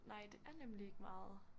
Nej det er nemlig ikke meget